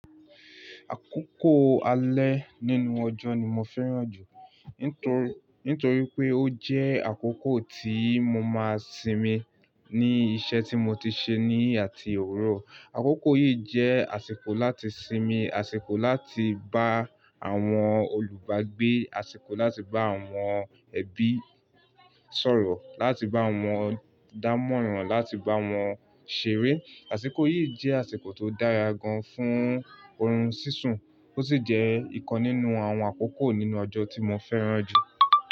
Àkókò alẹ́ nínú ọjọ́ ni mo fẹ́ràn jù. Nítorí pé ó jẹ́ àkókò tí mo máa ń sinmi ní iṣẹ́ tí mo ti ṣe ní àti òwuro. Àkókò yìí jẹ́ àsìkò láti sinmi, àsìkò láti bá àwọn olùbágbé, àsìkò láti bá àwọn ẹbí sọ̀rọ̀, láti bá wọn dámọ̀ràn, láti bá wọn ṣeré. Àsìkò yìí jẹ́ àsìkò tó dára gan-an fún oorun sísun, ó sì jẹ́ ìkan nínú àwọn àkókò nínú ọjọ́ tí mo fẹ́ràn jù.